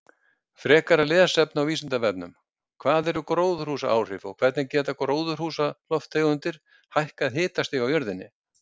Frekara lesefni á Vísindavefnum: Hvað eru gróðurhúsaáhrif og hvernig geta gróðurhúsalofttegundir hækkað hitastig á jörðinni?